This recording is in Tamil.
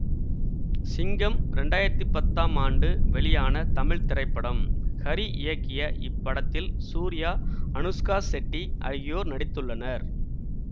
சிங்கம் இரண்டாயிரத்தி பத்தாம் ஆண்டு வெளியான தமிழ் திரைப்படம் ஹரி இயக்கிய இப்படத்தில் சூர்யா அனுஷ்கா செட்டி ஆகியோர் நடித்துள்ளனர்